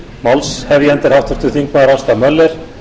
málshefjandi er háttvirtur þingmaður ásta möller